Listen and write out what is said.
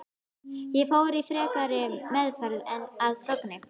Ég fór í frekari meðferð að Sogni.